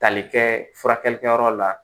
Tali kɛ furakɛlikɛyɔrɔ la